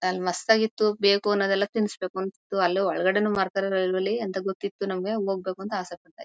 ಅಲ್ ಮಸ್ತ್ ಆಗಿತ್ತು ಬೇಕ್ ಅಣುದ್ ಎಲ್ಲಾ ತಿಂಸಬೇಕು ಅಂತಿತ್ತು ಅಲ್ಲೇ ಹೊರಗಡೆನು ಮಾರ್ತಾರೆ ಅಂತ ಗೊತ್ತಿತ್ತು ನಮಗೆ ಹೋಗ್ಬೇಕು ಅಂತ ಆಸೆ ಪಡ್ತಾ ಇದ್ವಿ.